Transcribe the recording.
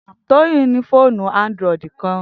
Toyin ni foonu Android kan.